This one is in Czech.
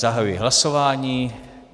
Zahajuji hlasování.